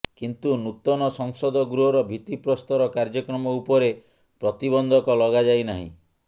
କିନ୍ତୁ ନୂତନ ସଂସଦ ଗୃହର ଭିତ୍ତି ପ୍ରସ୍ତର କାର୍ଯ୍ୟକ୍ରମ ଉପରେ ପ୍ରତିବନ୍ଧକ ଲଗାଯାଇ ନାହିଁ